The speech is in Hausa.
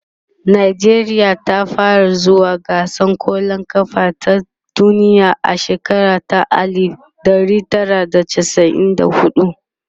nijeriya ta fara zuwa gasar kwallan kafa ta duniya a shekara ta alif ɗari Tara da chasa'in da huɗu